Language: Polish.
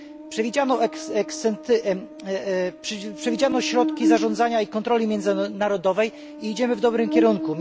Przewidziano środki zarządzania i kontroli międzynarodowej i idziemy w dobrym kierunku.